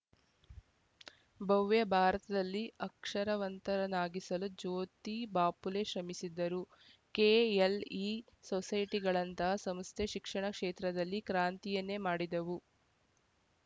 ಭವ್ಯ ಭಾರತದಲ್ಲಿ ಅಕ್ಷರವಂತರನ್ನಾಗಿಸಲು ಜ್ಯೋತಿ ಬಾಪುಲೆ ಶ್ರಮಿಸಿದರು ಕೆಎಲ್‌ಇ ಸೊಸೈಟಿಗಳಂತಹ ಸಂಸ್ಥೆ ಶಿಕ್ಷಣ ಕ್ಷೇತ್ರದಲ್ಲಿ ಕ್ರಾಂತಿಯನ್ನೇ ಮಾಡಿದೆವು